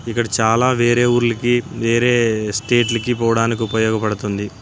ఇక్కడ చాలా వేరే ఊర్లకి వేరే స్టేట్ కి పోడానికి ఉపయోగపడుతుంది.